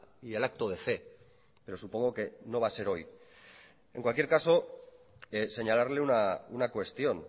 y el acto de fe pero supongo que no va a ser hoy en cualquier caso señalarle una cuestión